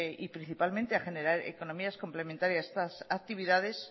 y principalmente a generar economías complementarias a estas actividades